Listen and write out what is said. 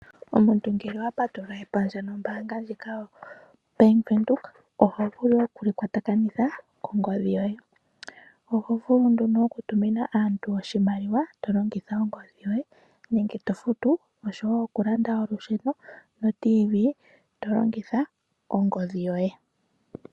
Omuntu ngele owa patulula epandja nombaanga YaVenduka oho vulu oku li kwatakanitha kongodhi yoye .Oho vulu oku tumina aantu oshimaliwa, okufuta olusheno nenge oRadio yomuzizimbe to longitha ongodhi yoye yopeke.